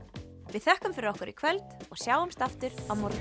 við þökkum fyrir okkur í kvöld og sjáumst aftur á morgun